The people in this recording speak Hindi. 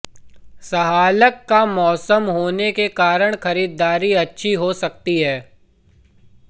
सहालग का मौसम होने के कारण खरीददारी अच्छी हो सकती है